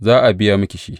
Za a biya miki shi.